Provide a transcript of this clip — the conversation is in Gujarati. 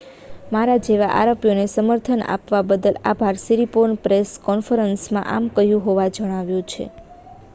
"""મારા જેવા આરોપીને સમર્થન આપવા બદલ આભાર," સિરિપોર્ને પ્રેસ કૉન્ફરન્સમાં આમ કહ્યું હોવાનું જણાવાયું છે.